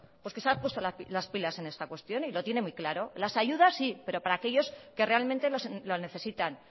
pues que se ha puesto las pilas en esta cuestión y lo tiene muy claro las ayudas sí pero para aquellos que realmente lo necesitan